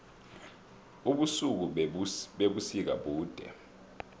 ubusuku bebusika bude